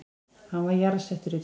Hann var jarðsettur í gær